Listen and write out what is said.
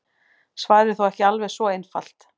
Svarið er þó ekki alveg svo einfalt.